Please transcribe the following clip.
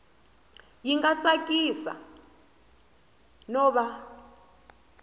yi nga tsakisi no va